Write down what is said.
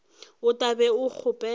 o tla be o kgopela